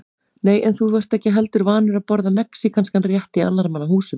Nei, en þú ert ekki heldur vanur að borða mexíkanskan rétt í annarra manna húsum